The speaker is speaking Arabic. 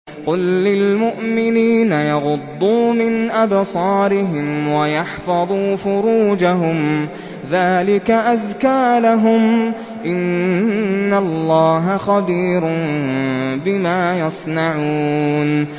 قُل لِّلْمُؤْمِنِينَ يَغُضُّوا مِنْ أَبْصَارِهِمْ وَيَحْفَظُوا فُرُوجَهُمْ ۚ ذَٰلِكَ أَزْكَىٰ لَهُمْ ۗ إِنَّ اللَّهَ خَبِيرٌ بِمَا يَصْنَعُونَ